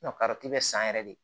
bɛ san yɛrɛ de